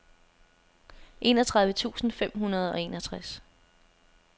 enogtredive tusind fem hundrede og enogtres